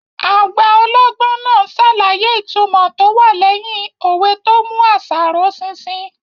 Àgbà ọlọ́gbọ́n náà n ṣàlàyé ìtumọ̀ tó wà lẹ́yìn òwe tó mú àṣà ró ṣinṣin